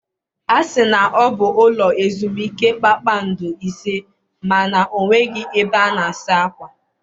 A sị na ọ bụ ụlọ ezumike kpakpando ise ma na o nweghị ebe a na-asa akwa.